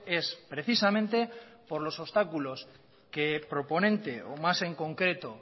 es precisamente por los obstáculos que proponente o más en concreto